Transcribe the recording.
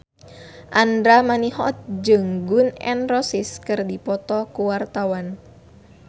Andra Manihot jeung Gun N Roses keur dipoto ku wartawan